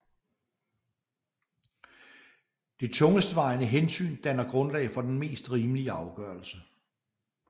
Det tungestvejende hensyn danner grundlag for den mest rimelige afgørelse